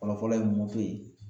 Fɔlɔfɔlɔ ye moto ye